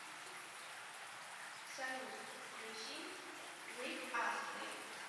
салют включи рик астли